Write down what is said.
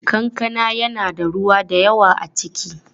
Kankana yana da ruwa da yawa a ciki.